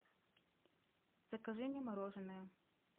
закажи мне мороженое